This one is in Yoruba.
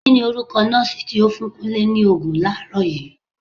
Kini orúkọ nọọsi tí ó fún Kúnlé ni Ògùn làárọ̀ yii?